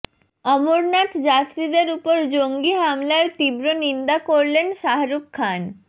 অমরনাথ যাত্রীদের উপর জঙ্গি হামলার তীব্র নিন্দা করলেন শাহরুখ খান